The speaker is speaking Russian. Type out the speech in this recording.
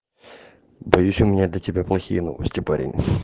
боюсь у меня для тебя плохие новости парень